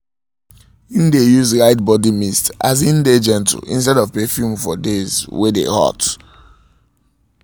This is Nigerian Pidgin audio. im dae use light body mist as e dae gentle instead of perfume for days wae dae hot